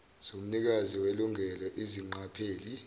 zomnikazi welungelo izingqapheli